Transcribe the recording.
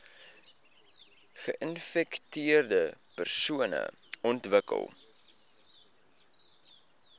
geinfekteerde persone ontwikkel